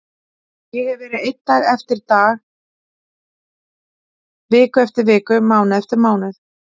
Ég hefi verið ein dag eftir dag, viku eftir viku, mánuð eftir mánuð.